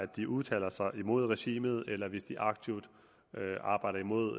de udtaler sig imod et regime eller hvis de aktivt arbejder imod